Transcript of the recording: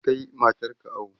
Kai matar ka awo!